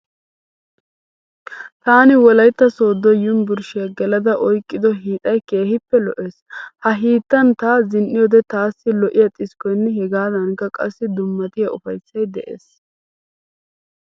Taani Wolayitta Sooddo yunivurshshiya gelada oyqqido hiixay keehippe lo''ees. Ha hiittan ta zin'iyoode taassi lo''iya xiskkoyinne hegaadankka qassi dummatiya ufayissay de'ees.